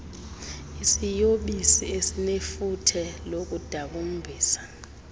isiyobisi esinefuthe lokudakumbisa